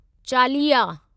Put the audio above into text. चालिया